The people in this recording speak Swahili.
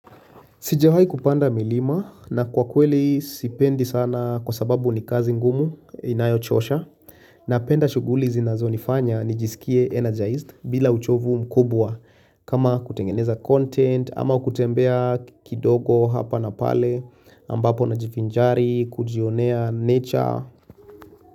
Sijawai kupanda milima na kwa kweli sipendi sana kwa sababu ni kazi ngumu inayochosha Napenda shughuli zinazonifanya nijisikie energized bila uchovu mkubwa kama kutengeneza content ama kutembea kidogo hapa na pale ambapo najivinjari kujionea nature.